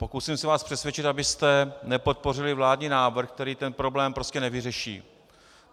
Pokusím se vás přesvědčit, abyste nepodpořili vládní návrh, který tento problém prostě nevyřeší.